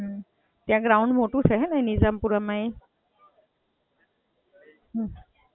ત્યાં ગ્રાઉંડ મોટું છે ને નિઝામપૂરામાં?